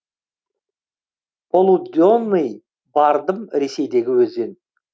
полуденный бардым ресейдегі өзен